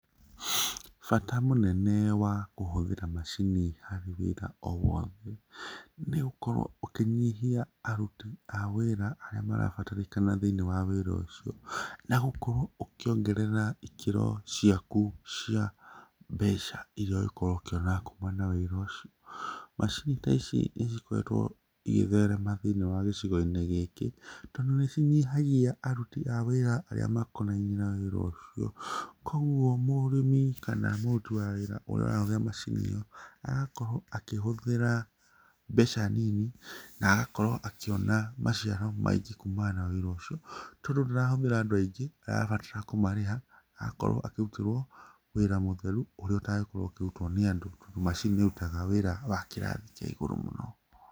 Bata mũnene wa kũhũthĩra macini harĩ wĩra o wothe nĩ ũgũkorwo ũkĩnyihia aruti a wĩra arĩa marabatarĩkana thĩiniĩ wa wĩra ũcio na gũkorwo ũkĩongerera ikĩro ciaku cia mbeca iria ũgũkorwo ũkĩona kuma na wĩra ũcio. Macini ta ici nĩ cikoretwo igĩtherema thĩinĩ wa gĩcigo-inĩ gĩkĩ tondũ nĩ cinyihagia aruti a wĩra arĩa makonainiĩ na wĩra ũcio, koguo mũrĩmi kana mũruti wa wĩra ũrĩa ũrahũthĩra macini ĩyo agakorwo akĩhũthĩra mbeca nini na agakorwo akĩona maciaro maingĩ kumana na wĩra ũcio tondũ ndũrahũthĩra andũ aingĩ ũrabatara kũmarĩha akorwo akĩrutĩrwo wĩra mũtheru ũrĩa ũtangĩkorwo ũkĩrutwo nĩ andũ tondũ macini nĩ ĩrutaga wĩra wa kĩrathi kĩa igũrũ mũno.